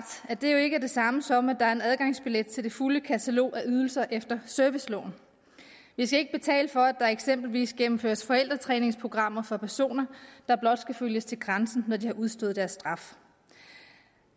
at det jo ikke er det samme som at der er en adgangsbillet til det fulde katalog af ydelser efter serviceloven vi skal ikke betale for at der eksempelvis gennemføres forældretræningsprogrammer for personer der blot skal følges til grænsen når de har udstået deres straf